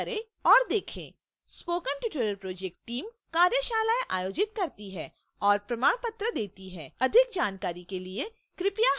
spoken tutorial project team कार्यशालाएं आयोजित करती है और प्रमाण पत्र देती है अधिक जानकारी के लिए कृपया हमें लिखें